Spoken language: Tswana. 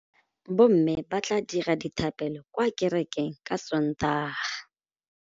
Bommê ba tla dira dithapêlô kwa kerekeng ka Sontaga.